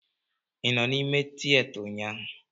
Ị nọ n'ime tịyeta ụnyaahụ?